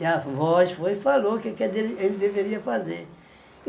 E a voz foi e falou o que é que é dele ele deveria fazer.